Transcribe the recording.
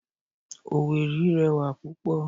Owerri rẹwà pupo